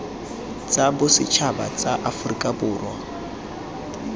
tsa bosetšhaba tsa aforika borwa